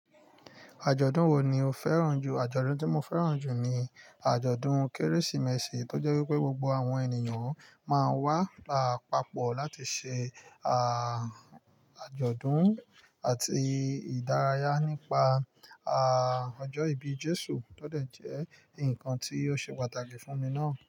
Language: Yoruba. Àjọ̀dún wo ni o fẹ́ràn jù? Àjọ̀dún tí mo fẹ́ràn jù ni àjọ̀dún Kérésìmesì, tó jẹ́ wípé gbogbo àwọn ènìyàn máa ń wá papọ̀ láti ṣe àjọ̀dún àti ìdárayá nípa ọjọ́ ìbí Jésù, tó dẹ̀ jẹ́ ǹkan tí ó ṣe pàtàkì fún mi náà.